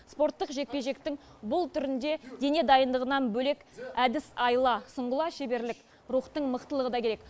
спорттық жекпе жектің бұл түрінде дене дайындығынан бөлек әдіс айла сұңғыла шеберлік рухтың мықтылығы да керек